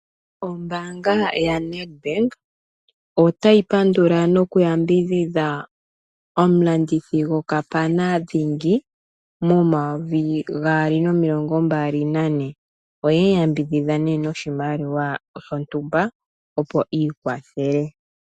Ombaanga yaNedbank otayi pandula nokuyambidhidha omulandithi gokapana dhingi mo2024 oye mu yambidhidha noshimaliwa shontumba opo iikwathele.